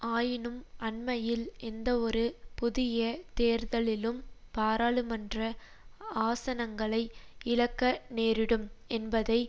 ஆயினும் அண்மையில் எந்தவொரு புதிய தேர்தலிலும் பாராளுமன்ற ஆசனங்களை இழக்க நேரிடும் என்பதை